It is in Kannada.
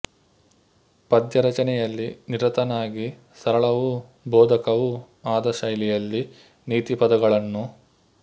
ಪದ್ಯ ರಚನೆಯಲ್ಲಿ ನಿರತನಾಗಿ ಸರಳವೂ ಬೋಧಕವೂ ಆದ ಶೈಲಿಯಲ್ಲಿ ನೀತಿಪದಗಳನ್ನು